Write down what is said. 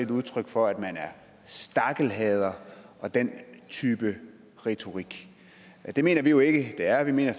det udtryk for at man er stakkelhader og den type retorik det mener vi jo ikke det er vi mener